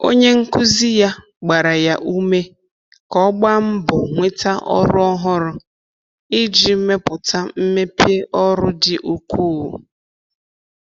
Onye nkụzi ya gbaara ya ume ka ọ gbaa mbọ nweta ọrụ ọhụrụ iji mepụta mmepe ọrụ dị ukwuu.